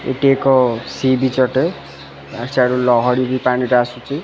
ଏଇଟି ଏକ sea beach ଅଟେ ଆଡୁ ଲହଡ଼ି ବି ପାଣିଟା ଆସୁଚି।